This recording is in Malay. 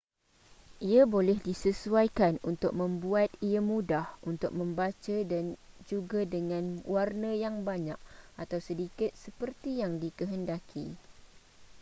ia boleh disesuaikan untuk membuat ia mudah untuk membaca dan juga dengan warna yang banyak atau sedikit seperti yang dikehendaki